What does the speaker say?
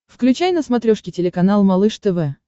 включай на смотрешке телеканал малыш тв